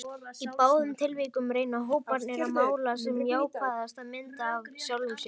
Í báðum tilvikum reyna hóparnir að mála sem jákvæðasta mynd af sjálfum sér.